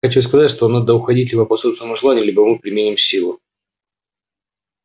хочу сказать что вам надо уходить либо по собственному желанию либо мы применим силу